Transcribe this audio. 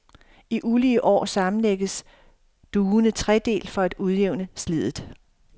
I ulige år sammemlægges dugene tredelt for at udjævne sliddet.